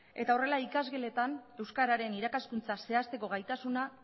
eta horrela ikasgeletan euskararen irakaskuntza zehazteko gaitasuna